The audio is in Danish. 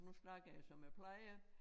Nu snakker jeg som jeg plejer